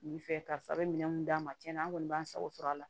Nin fɛ karisa a bɛ minɛn minnu d'a ma tiɲɛna an kɔni b'an sago sɔrɔ a la